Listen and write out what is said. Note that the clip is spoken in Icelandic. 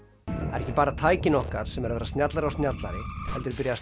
ekki bara tækin okkar sem eru að verða snjallari og snjallari heldur er byrjað